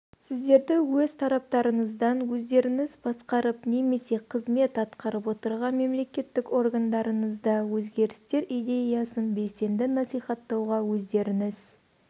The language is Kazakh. сіздерді өз тараптарыңыздан өздеріңіз басқарып немесе қызмет атқарып отырған мемлекеттік органдарыңызда өзгерістер идеясын белсенді насихаттауға өздеріңіз